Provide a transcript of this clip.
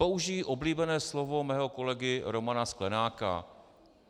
Použiji oblíbené slovo svého kolegy Romana Sklenáka.